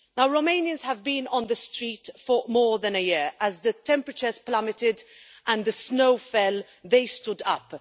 Romanians have been on the street for more than a year as temperatures plummeted and the snow fell, they stood up.